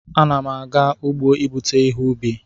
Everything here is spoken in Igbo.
Ana m aga ugbo ibute ihe ubi